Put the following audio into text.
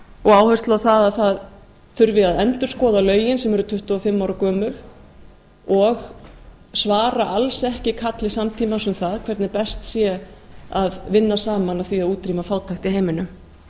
og áherslu á að það þurfi að endurskoða lögin sem eru tuttugu og fimm ára gömul og svara alls ekki kalli samtímans um það hvernig best sé að vinna saman að því að útrýma fátækt í heiminum